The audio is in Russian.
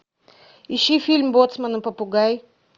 ищи фильм боцман и попугай